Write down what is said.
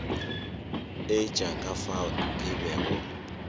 etša ka fao ke bego